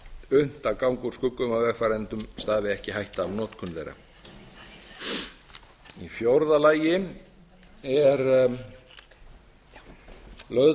unnt að ganga úr skugga um að vegfarendum stafi ekki hætta af notkun þeirra í fjórða lagi er lögð